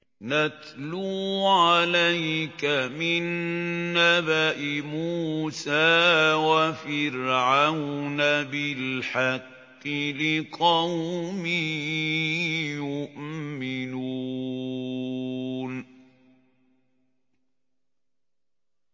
نَتْلُو عَلَيْكَ مِن نَّبَإِ مُوسَىٰ وَفِرْعَوْنَ بِالْحَقِّ لِقَوْمٍ يُؤْمِنُونَ